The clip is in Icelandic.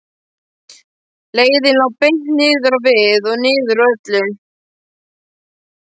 Leiðin lá beint niður á við og niður úr öllu.